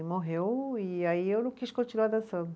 E morreu, e aí eu não quis continuar dançando.